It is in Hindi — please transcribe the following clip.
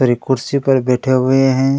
सारी कुर्सी पर बैठे हुए है।